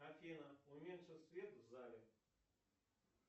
афина уменьши свет в зале